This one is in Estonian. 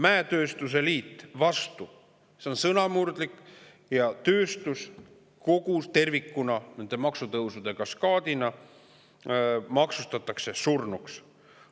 Mäetööstuse liit oli vastu, sest see on sõnamurdlik ja tööstus tervikuna maksustatakse selle maksutõusude kaskaadiga surnuks.